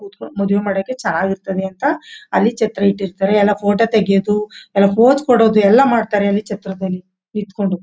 ಕೂತುಕೊಂಡು ಮದುವೆ ಮಾಡಕ್ಕೆ ಚೆನಾಗಿರುತ್ತೆ ಅಂತ ಅಲ್ಲಿ ಛತ್ರ ಇಟ್ಟಿರ್ಥಾರೆ ಎಲ್ಲ ಫೋಟೋ ತೆಗಿಯದು ಪೋಸ್ ಕೊಡದು ಎಲ್ಲ ಮಾಡ್ತಾರೆ ಅಲ್ಲಿ ಛತ್ರದಲ್ಲಿ. ನಿಂತುಕೊಂಡು.